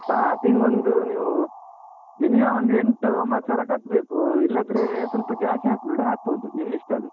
Starting ಒಂದು ನೀವು minimum ಒಂದು ಎಂಟು ಒಂಬತ್ತು ಸಾವ್ರ ಕಟ್ಬೇಕು, ಇಲ್ಲಾದ್ರೆ ಸ್ವಲ್ಪ ಜಾಸ್ತಿ ಹಾಕುದಿದ್ರೆ ಹಾಕ್ಬೋದು, ನಿಮ್ ಇಷ್ಟ ಅದು.